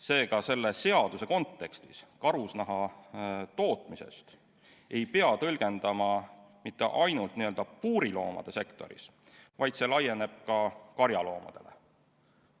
Seega ei pea selle seaduse kontekstis karusnahatootmist tõlgendama mitte ainult puuriloomade pidamise sektoris, vaid see laieneb ka kariloomadele.